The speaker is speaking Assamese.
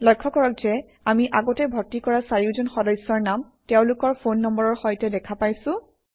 লক্ষ্য কৰক যে আমি আগতে ভৰ্তি কৰা চাৰিওজন সদস্যৰ নাম তেওঁলোকৰ ফোন নম্বৰৰ সৈতে দেখা পাইছোঁ